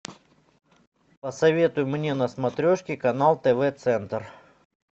посоветуй мне на смотрешке канал тв центр